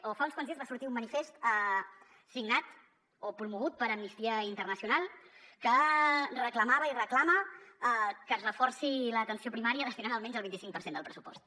o fa uns quants dies va sortir un manifest signat o promogut per amnistia internacional que reclamava i reclama que es reforci l’atenció primària destinant hi almenys el vint i cinc per cent del pressupost